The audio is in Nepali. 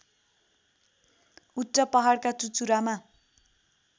उच्च पहाडका चुचुरामा